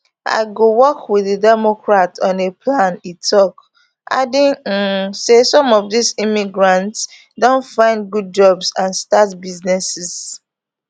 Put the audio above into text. i go work with di democrats on a plan e tok adding um say some of dis immigrants don find good jobs and start businesses